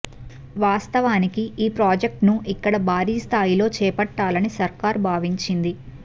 వాస్తవానికి ఈ ప్రాజెక్టును ఇక్కడ భారీ స్థాయిలో చేపట్టాలని సర్కారు భావించింది